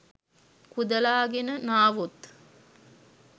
කුදලාගෙන නාවොත්